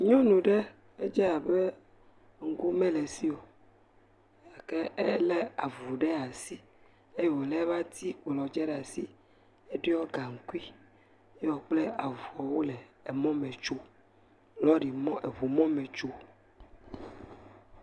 Nyɔnu aɖe, edze abe ŋku mele esi o gake elé avu ɖe asi ye wolé eƒe atikplɔ tsɛ ɖe asi. Eɖɔ gaŋkui ye wo kple avua wole mɔ me tsom. Lɔrimɔ, ŋumɔ me tsom.